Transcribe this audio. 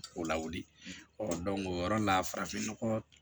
O lawuli ɔ o yɔrɔ la farafinnɔgɔ